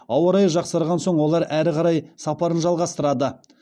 ауа райы жақсарған соң олар әрі қарай сапарын жалғастырады